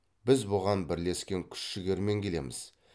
біз бұған бірлескен күш жігермен келеміз